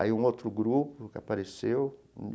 Aí um outro grupo que apareceu.